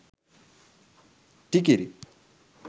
tikiri